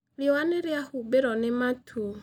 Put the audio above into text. Riũa nĩ rĩahumbĩirũo nĩ matu.